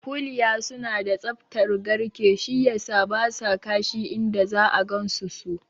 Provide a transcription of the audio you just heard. Kuliya suna da tsaftar garke, shi yasa basa kashi inda za'a gansu su